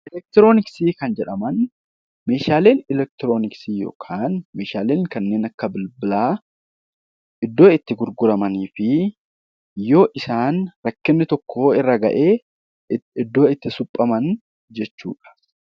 Elektroniksii kan jedhaman meeshaalee elektroniksii yookiin meeshaalee kanneen akka elektroniksii iddoo gurguramanii fi yoo isaan rakkinni tokko irra gahe iddoo itti suphaman jechuudha.